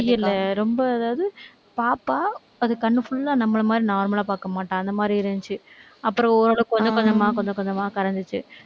முடியலை. ரொம்ப அதாவது பார்ப்பா அது கண்ணு full ஆ நம்மளை மாதிரி normal லா பார்க்கமாட்டா. அந்த மாதிரி இருந்துச்சு. அப்புறம், ஓரளவுக்கு கொஞ்சம் கொஞ்சமா, கொஞ்சம் கொஞ்சமா கரைஞ்சிச்சு.